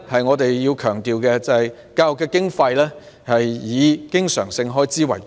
我們要強調的是，教育經費以經常性開支為主。